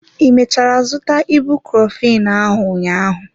I mechara zụta ibuprophen ahụ ụnyaahụ?